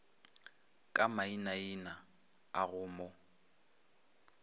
ka mainaina a go mo